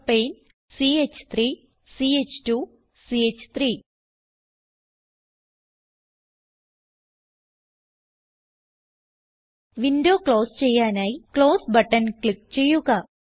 propane ch3 ch2 ച്ച്3 window close ചെയ്യാനായി close button click ചെയ്യുക